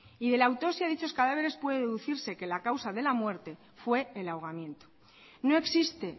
y de la autopsia de dichos cadáveres puede deducirse que la causa de la muerte fue el ahogamiento no existe